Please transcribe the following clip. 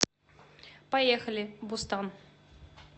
поехали бустан